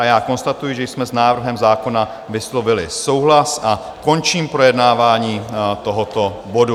A já konstatuji, že jsme s návrhem zákona vyslovili souhlas, a končím projednávání tohoto bodu.